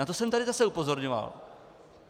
Na to jsem tady zase upozorňoval.